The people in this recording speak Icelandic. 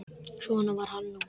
Svona var hann nú.